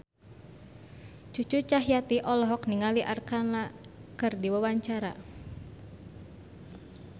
Cucu Cahyati olohok ningali Arkarna keur diwawancara